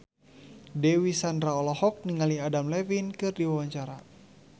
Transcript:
Dewi Sandra olohok ningali Adam Levine keur diwawancara